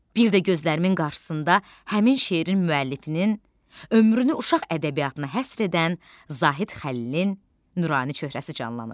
Bir də gözlərimin qarşısında həmin şeirin müəllifinin, ömrünü uşaq ədəbiyyatına həsr edən Zahid Xəlilin nurani çöhrəsi canlanır.